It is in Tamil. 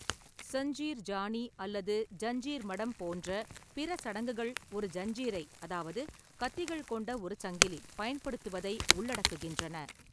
சஞ்சீர் ஜானி அல்லது ஜன்ஜீர் மடம் போன்ற பிற சடங்குகள் ஒரு ஜன்ஜீரை அதாவுது கத்திகள் கொண்ட ஒரு சங்கிலி பயன்படுத்துவதை உள்ளடக்குகின்றன.